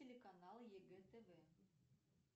телеканал егэ тв